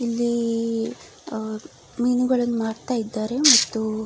ಇಲ್ಲಿ ಅಹ್ ಅಹ್ ಮೀನುಗಳನ್ನು ಮಾರ್ತ ಇದ್ದಾರೆ ಮತ್ತು --